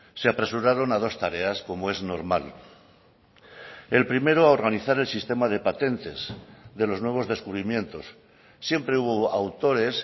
se apresuraron a dos tareas como es normal el primero organizar el sistema de patentes de los nuevos descubrimientos siempre hubo autores